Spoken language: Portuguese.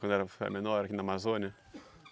Quando eu era eh menor aqui na Amazônia?